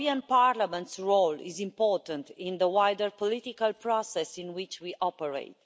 Parliament's role is important in the wider political process in which we operate.